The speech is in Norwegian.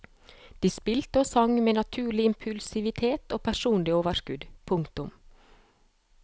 De spilte og sang med naturlig impulsivitet og personlig overskudd. punktum